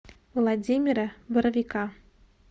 владимира боровика